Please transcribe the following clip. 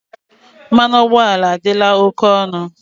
Mmanụ ụgbọala adịla oke ọnụ.